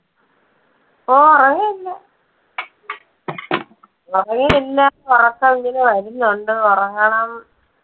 ഓ, ഉറങ്ങിയില്ലല്ലോ. ഉറക്കം ഇങ്ങനെ വരുന്നുണ്ട്. ഉറങ്ങണം.